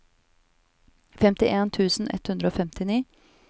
femtien tusen ett hundre og femtini